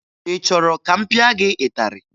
Ị chọrọ ka m pịa gị ịtarị?